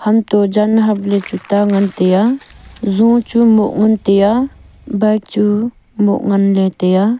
anto jan hap le chu ta ngan teya jung cho mo ngan taiya bike chu mo ngan le taiya.